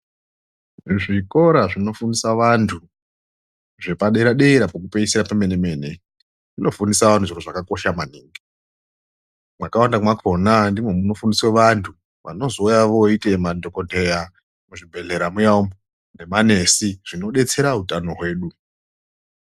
Zvikora zvinofundisa vantu zvepadera-dera pekupeisira pemene-mene zvinofundisa vantu zviro zvakakosha maningi. Mwakawanda mwakona ndimwo munofundiswe vantu vanozouya vooite madhokotera muzvibhedhlera muya umwu nemanesi zvinodetsera utano hwedu.